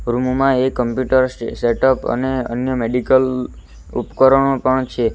Room માં એક computer સે સેટઅપ અને અન્ય મેડિકલ ઉપકરણો પણ છે.